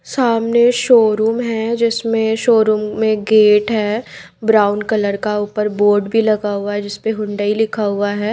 सामने शोरूम है जिसमे शोरूम में गेट है ब्राउन कलर का ऊपर बोर्ड भी लगा हुआ है जिसमे हुंडाई लिखा हुआ हैं।